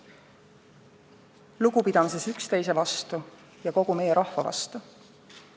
Lugupidamises üksteise vastu ja kogu meie rahva vastu.